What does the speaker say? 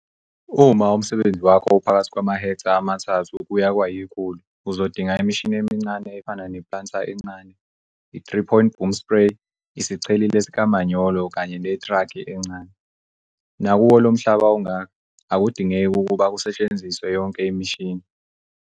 Uma umsebenzi wakho uphakathi kwamahektha amathathu kuya kwayi-100 uzodinga imishini emincane efana ne-planter encane, i-three point boom spray, isicheleli sikamanyolo kanye netraki encane. Nakuwo lo mhlaba ongaka, akudingeki ukuba kusetshenziswe yonke imishini.